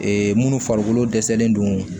minnu farikolo dɛsɛlen don